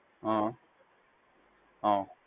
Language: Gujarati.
હા હા.